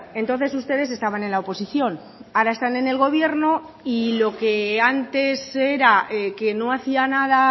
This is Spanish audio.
entonces ustedes estaban en la oposición ahora están en el gobierno y lo que antes era que no hacía nada